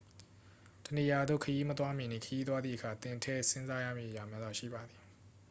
တစ်နေရာရာသို့ခရီးမသွားမီနှင့် ခရီးသွားသည့်အခါ သင်ထည့်စဉ်းစားရမည့်အရာများစွာ ရှိပါသည်